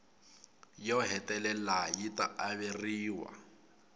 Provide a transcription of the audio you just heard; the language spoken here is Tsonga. yo hetelela yi ta averiwa